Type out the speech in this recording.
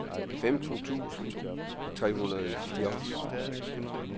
femten tusind tre hundrede og fireogfyrre